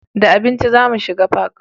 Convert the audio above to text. Da abinci za mu shiga fak